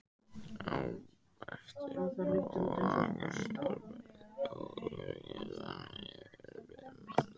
Á eftir Bróa kemur Berti og fjölskyldan telur fimm manns.